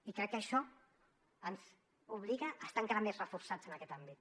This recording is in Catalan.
i crec que això ens obliga a estar encara més reforçats en aquest àmbit